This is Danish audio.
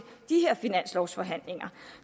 de her finanslovsforhandlinger